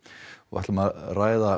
við ætlum að ræða